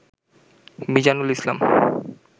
Mizanul Islam